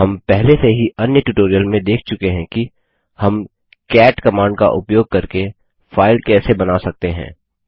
हम पहले से ही अन्य ट्यूटोरियल में देख चुके हैं कि हम कैट कमांड का उपयोग करके फाइल कैसे बना सकते हैं